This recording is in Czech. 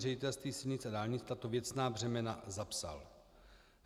Ředitelství silnic a dálnic tato věcná břemena zapsal.